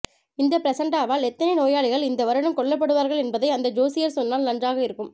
இந்த பிரசண்டாவால் எத்தனை நேபாளிகள் இந்த் வருடம் கொல்லப்படுவார்கள் என்பதை அந்த ஜோஸ்யர் சொன்னால் நன்றாக இருக்கும்